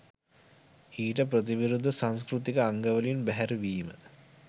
ඊට ප්‍රතිවිරුද්ධ සංස්කෘතික අංගවලින් බැහැරවීම